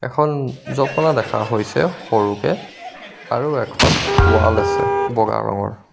এখন জপনা দেখা হৈছে সৰুকে আৰু এখন ৱাল আছে ব'গা ৰঙৰ.